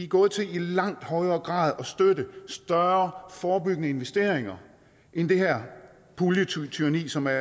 gået til i langt højere grad at støtte større forebyggende investeringer end det her puljetyranni som er